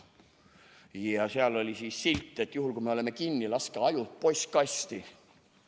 Ja seal oli siis silt, et juhul kui me oleme kinni, laske ajud postkasti.